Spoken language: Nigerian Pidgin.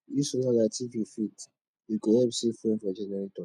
use solar light if you fit e go help save fuel for generator